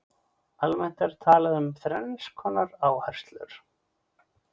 almennt er talað um þrenns konar áherslur